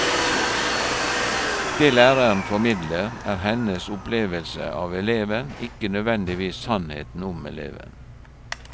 Det læreren formidler, er hennes opplevelse av eleven, ikke nødvendigvis sannheten om eleven.